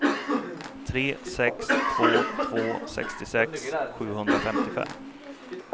tre sex två två sextiosex sjuhundrafemtiofem